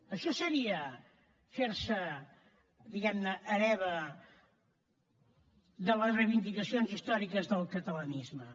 això seria fer se diguem ne hereva de les reivindicacions històriques del catalanisme